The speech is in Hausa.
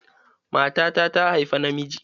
Matata ta haifa na miji.